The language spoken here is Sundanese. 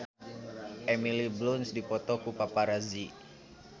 Emily Blunt dipoto ku paparazi